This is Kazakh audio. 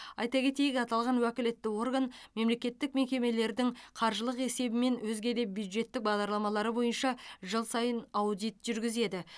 айта кетейік аталған уәкілетті орган мемлекеттік мекемелердің қаржылық есебі мен өзге де бюджеттік бағдарламалары бойынша жыл сайын аудит жүргізеді